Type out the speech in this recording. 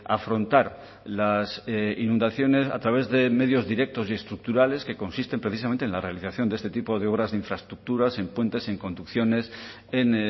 afrontar las inundaciones a través de medios directos y estructurales que consisten precisamente en la realización de este tipo de obras de infraestructuras en puentes en conducciones en